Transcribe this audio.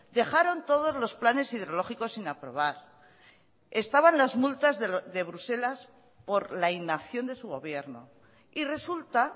dejaron todos los planes hidrológicos sin aprobar estaban las multas de bruselas por la inacción de su gobierno y resulta